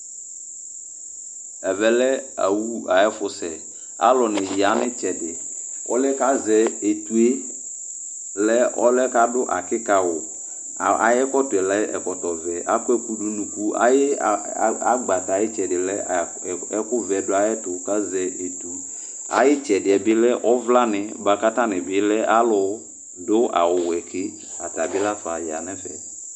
Ɛvɛ lɛ awu ayʋ ɛfʋsɛ Alʋnɩ ya nʋ ɩtsɛdɩ Ɔlʋ yɛ kʋ azɛ etu yɛ lɛ ɔlʋ yɛ kʋ adʋ akɩka awʋ Ayʋ ɛkɔtɔ yɛ lɛ ɛkɔtɔvɛ Akɔ ɛkʋ dʋ nʋ unuku Ayʋ a a agbata yɛ ayʋ ɩtsɛdɩ lɛ a ɛkʋvɛ dʋ ayɛtʋ kʋ azɛ etu, ayʋ ɩtsɛdɩ yɛ bɩ lɛ ɔvlanɩ bʋa kʋ atanɩ bɩ lɛ alʋdʋ awʋwɛ ke, ata bɩ la fa ya nʋ ɛfɛ